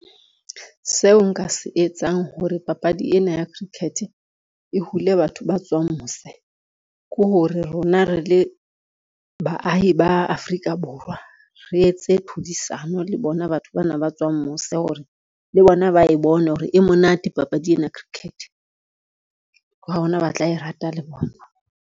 Seo nka se etsang hore papadi ena ya cricket, e hule batho ba tswang mose ke hore rona re le baahi ba Afrika Borwa, re etse tlhodisano le bona batho bana ba tswang mose hore le bona ba e bone hore e monate papadi ena cricket, ke hona ba tla e rata le bona.